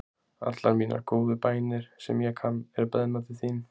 allar mínar góðu bænir, sem ég kann, eru beðnar til þín.